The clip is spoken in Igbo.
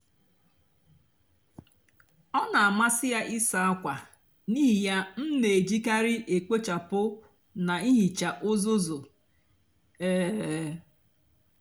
ọ nà-àmasị yá ịsá ákwa n'íhì yá m nà-èjìkarị èkpochapụ nà íhíchá úzúzu. um